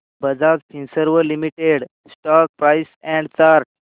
Bajaj Finserv limited stock price and chart